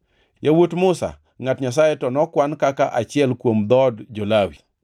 Yawuot Musa, ngʼat Nyasaye, to nokwan kaka achiel kuom dhood jo-Lawi.